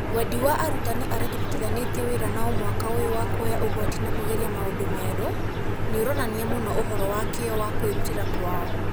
Wendi wa arutani arĩa tũrutithanĩtie wĩra nao mwaka ũyũ wa kuoya ũgwati na kũgeria maũndũ merũ nĩ ũronania mũno ũhoro wa kĩyo na kwĩrutĩra kwao.